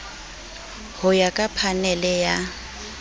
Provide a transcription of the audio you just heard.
ho ya ka phanele ya